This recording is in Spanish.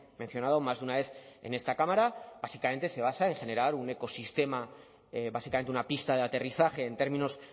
mencionado más de una vez en esta cámara básicamente se basa en generar un ecosistema básicamente una pista de aterrizaje en términos